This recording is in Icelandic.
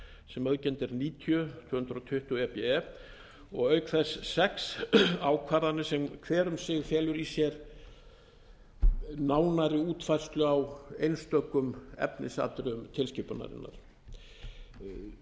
sem auðkennd er níutíu tvö hundruð tuttugu e b e og auk þess sex ákvarðanir sem hver um sig felur í sér nánari útfærslu á einstökum efnisatriðum tilskipunarinnar fyrstnefnda